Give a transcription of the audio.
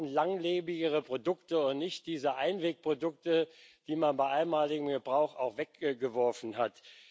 Wir brauchen langlebigere Produkte und nicht diese Einwegprodukte, die man nach einmaligen Gebrauch auch weggeworfen hat.